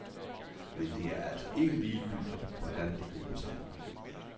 Men det er altså ikke ligegyldigt, hvordan det gribes an.